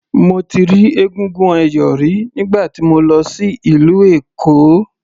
Mo ti rí egúngún ẹ̀yọ̀ rí nígbà tí mo lọ sí ìlú Èkó.